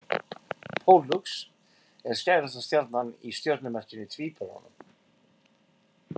Pollux er skærasta stjarnan í stjörnumerkinu Tvíburunum.